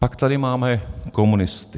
Pak tady máme komunisty.